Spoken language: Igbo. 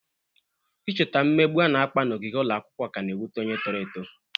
Icheta mmegbu a na-akpa n'ogige ụlọ akwụkwọ ka na-ewute onye toro eto.